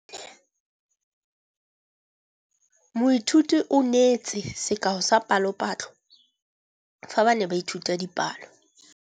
Moithuti o neetse sekaô sa palophatlo fa ba ne ba ithuta dipalo.